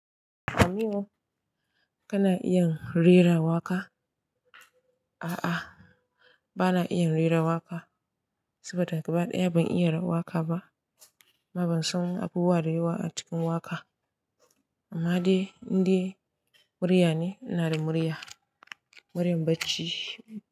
Aminu kana iya rera waƙa? A'a, bana iya rera waƙa saboda gaba ɗaya ban iya waƙa ba. Kuma ban san abubuwa da yawa a cikin waƙa. Amma dai, in dai murya ne, ina da murya, muryan bacci.